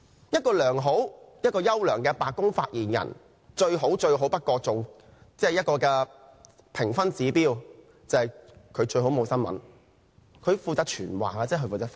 一個優秀的白宮發言人最佳的評分指標，就是沒有新聞，只是負責傳話和發言。